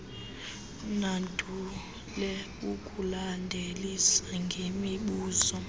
nandule ukulandelisa ngemibuzo